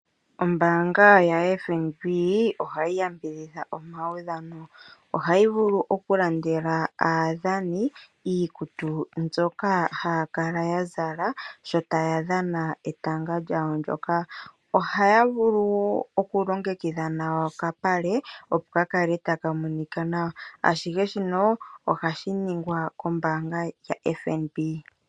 Ombaanga yaFNB ohayi yambidhidha omaudhano. Ohayi vulu okulandela aadhani iikutu mbyoka haya kala ya zala sho taya dhana etanga lyawo ndyoka. Ohaya vulu okulongekidha nawa okapale, opo ka kale taka monika nawa. Ashihe shino ohashi ningwa kombaanga yaFNB.